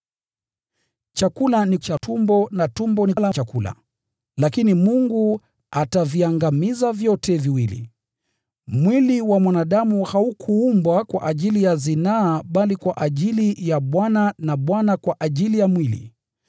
“Chakula ni cha tumbo, na tumbo ni la chakula”: lakini Mungu ataviangamiza vyote viwili. Mwili haukuumbwa kwa ajili ya zinaa bali kwa ajili ya Bwana na Bwana kwa ajili ya mwili.